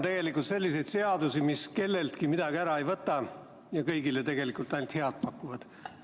Vähe on selliseid seadusi, mis kelleltki midagi ära ei võta ja kõigile ainult head pakuvad.